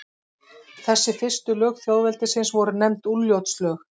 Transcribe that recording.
Þessi fyrstu lög þjóðveldisins voru nefnd Úlfljótslög.